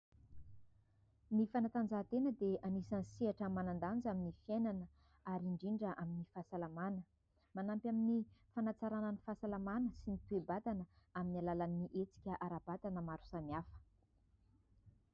Ny fanatanjahan-tena dia anisan'ny sehatra manan-danja amin'ny fiainana, ary indrindra amin'ny fahasalamana. Manampy amin'ny fanatsarana ny fahasalamana sy ny toe-batana amin'ny alalan'ny hetsika ara-batana maro samihafa.